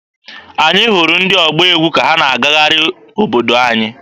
Anyị hụrụ ndị ọgba egwu ka ha na-agagharị obodo anyị.